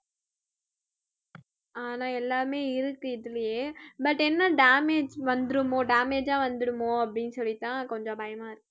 ஆனா எல்லாமே இருக்கு இதிலேயே but என்ன damage வந்திருமோ damage ஆ வந்துருமோ அப்படின்னு சொல்லித்தான் கொஞ்சம் பயமாருக்கு